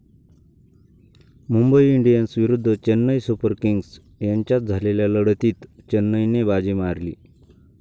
Mumbai Indians विरुद्ध Chennai Super Kings यांच्यात झालेल्या लढतीत चेन्नईने बाजी मारली.